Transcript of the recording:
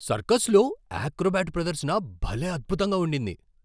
సర్కస్లో acrobat ప్రదర్శన భలే అద్భుతంగా ఉండింది!